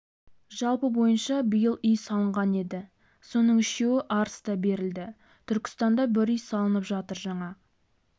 жалпы бойынша биыл үй салынған еді соның үшеуі арыста берілді түркістанда бір үй салынып жатыр жаңа